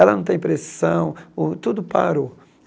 Ela não tem pressão, o tudo parou.